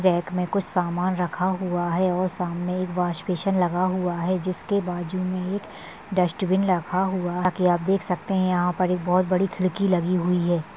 Rack मे कुछ सामान रखा हुआ है और सामने एक वॉश बेसिन लगा हुआ है जिसके बाजू मे एक डस्ट्बिन रखा हुआ है जैसा की आप देख सकते है यहाँ पर एक बहुत बड़ी खिड़कि लगी हुई है।